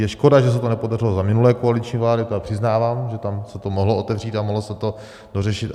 Je škoda, že se to nepodařilo za minulé koaliční vlády, to přiznávám, že tam se to mohlo otevřít a mohlo se to dořešit.